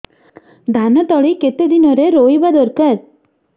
ଧାନ ତଳି କେତେ ଦିନରେ ରୋଈବା ଦରକାର